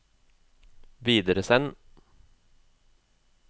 videresend